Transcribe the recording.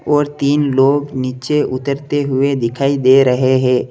और तीन लोग नीचे उतरते हुए दिखाई दे रहे हैं।